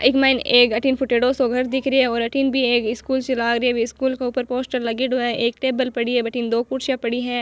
इक माइन एक अठीने फुटेडॉ सो घर दिख रो है अठीने भी एक स्कूल सी लाग रही है स्कूल के ऊपर पोस्टर लागेड़ो है एक टेबल पड़ी है बठन दो कुर्सियां पड़ी है।